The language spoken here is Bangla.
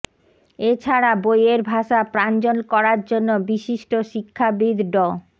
এছাড়া বইয়ের ভাষা প্রাঞ্জল করার জন্য বিশিষ্ট শিক্ষাবিদ ড